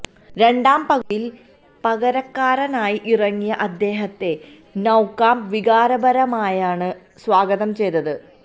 രണ്ടാം പകുതിയിൽ പകരക്കാരനായി ഇറങ്ങിയ അദ്ദേഹത്തെ നൌകാംപ് വികാരപരമായാണ് സ്വാഗതം ചെയ്തത്